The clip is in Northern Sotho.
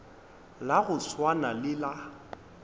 la go swana le la